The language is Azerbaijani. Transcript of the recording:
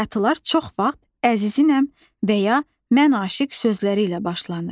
Bayatılar çox vaxt əzizinəm və ya mən aşiq sözləri ilə başlanır.